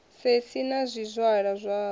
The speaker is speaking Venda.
sei sei na zwizwala zwawe